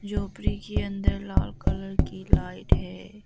झोपड़ी के अंदर लाल कलर की लाइट है।